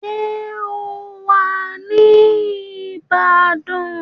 Ṣé ó wà ní Ìbàdàn?